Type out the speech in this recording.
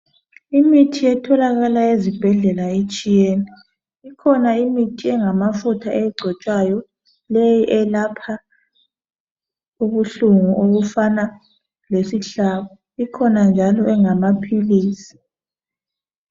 Imithi etholakala ezibhedlela itshiyene. Ikhona imithi engamafutha egcotshwayo leyi elapha ubuhlungu obufana lesihlabo, ikhona njalo engamaphilisi.